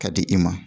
Ka di i ma